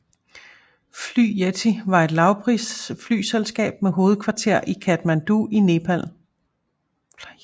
Fly Yeti var et lavprisflyselskab med hovedkvarter i Kathmandu i Nepal